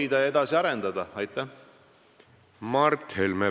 Mart Helme, palun!